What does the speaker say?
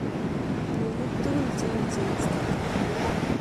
Maaadui tugul che wecheii instagram